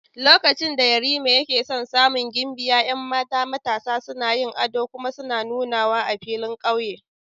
Lokacin da Yarima yake son samun gimbiya, 'yan mata matasa suna yin ado kuma suna nunawa a filin kauye.